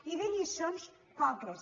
i de lliçons poques